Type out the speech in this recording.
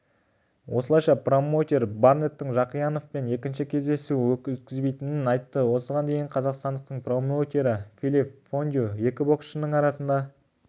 осылайша промоутер барнеттің жақияновпен екінші кездесу өткізбейтінін айтты осыған дейін қазақстандықтың промоутері филипп фондю екі боксшының арасында толтырылған келісімшартта не жазылғанын